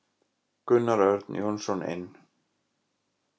Gunnar Örn Jónsson inn.